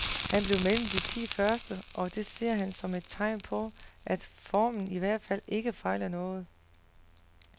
Han blev mellem de ti første, og det ser han som et tegn på, at formen i hvert fald ikke fejler noget.